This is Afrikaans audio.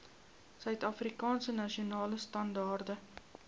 suidafrikaanse nasionale standaarde